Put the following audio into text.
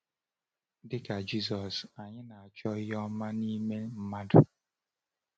Dị ka Jisọs, anyị na-achọ ihe ọma n’ime mmadụ.